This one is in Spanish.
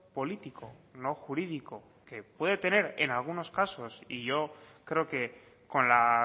político no jurídico que puede tener en algunos casos y yo creo que con la